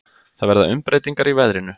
Það verða umbreytingar í veðrinu.